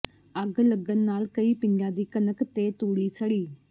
ਅੱਗ ਲੱਗਣ ਨਾਲ ਕਈ ਪਿੰਡਾਂ ਦੀ ਕਣਕ ਤੇ ਤੂੜੀ ਸੜੀ